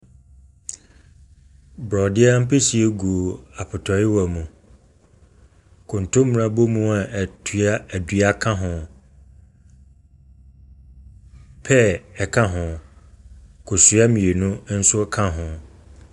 Borɔdeɛ ampesie gu apɔtɔyowa mu. Kontomire abomu a atua adua ka ho. Pɛɛ ka ho. Kosua mmienu nso ka ho.